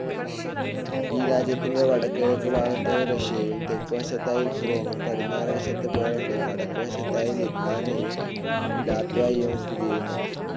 ഈ രാജ്യത്തിൻ്റെ വടക്ക് കിഴക്ക് ഭാഗത്തായി റഷ്യയും, തെക്ക് വശത്തായി യുക്രൈനും, പടിഞ്ഞാറ് വശത്ത് പോളണ്ടും, വടക്ക് വശത്തായി ലിത്‌വാനിയയും, ലാത്വിയയും സ്ഥിതി ചെയ്യുന്നു.